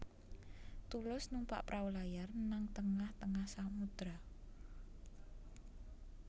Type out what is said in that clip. Tulus numpak prau layar nang tengah tengah samudra